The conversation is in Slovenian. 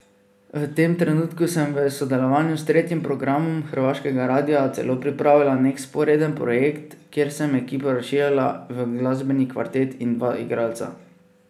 V tem trenutku sem v sodelovanju s tretjim programom hrvaškega radia celo pripravila nek vzporeden projekt, kjer sem ekipo razširila v glasbeni kvartet in dva igralca.